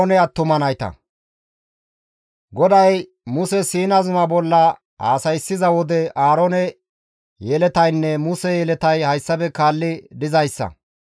GODAY Muse Siina zuma bolla haasayssiza wode Aaroone yeletaynne Muse yeletay hayssafe kaalli dizayssa;